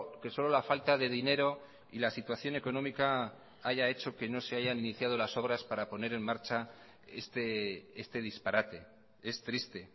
que solo la falta de dinero y la situación económica haya hecho que no se hayan iniciado las obras para poner en marcha este disparate es triste